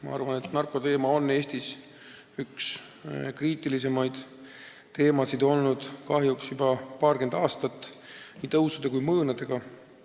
Ma arvan, et narkoteema on Eestis üks kriitilisemaid teemasid olnud kahjuks juba paarkümmend aastat, nii tõusude kui ka mõõnadega.